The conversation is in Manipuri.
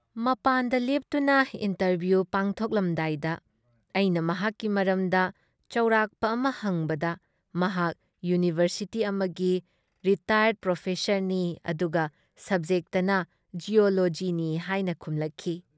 ꯃꯄꯥꯥꯟꯗ ꯂꯦꯞꯇꯨꯅ ꯏꯟꯇꯔꯚꯤꯌꯨ ꯄꯥꯡꯊꯣꯛꯂꯝꯗꯥꯏꯗ ꯑꯩꯅ ꯃꯍꯥꯛꯀꯤ ꯃꯔꯝꯗ ꯆꯧꯔꯥꯛꯄ ꯑꯃ ꯍꯪꯕꯗ ꯃꯍꯥꯛ ꯌꯨꯅꯤꯕꯔꯁꯤꯇꯤ ꯑꯃꯒꯤ ꯔꯤꯇꯥꯌꯔ꯭ꯗ ꯄ꯭ꯔꯣꯐꯦꯁꯔꯅꯤ ꯑꯗꯨꯒ ꯁꯕꯖꯦꯛꯇꯅ ꯖꯤꯑꯣꯂꯣꯖꯤꯅꯤ ꯍꯥꯏꯅ ꯈꯨꯝꯂꯛꯈꯤ ꯫